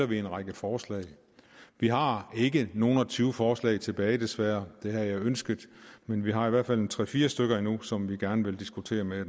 vi en række forslag vi har ikke nogle og tyve forslag tilbage desværre det havde jeg ønsket men vi har i hvert fald en tre fire stykker endnu som vi gerne vil diskutere med